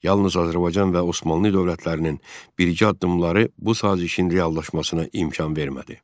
Yalnız Azərbaycan və Osmanlı dövlətlərinin birgə addımları bu sazişin reallaşmasına imkan vermədi.